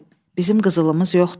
Bizim qızılımız yoxdur.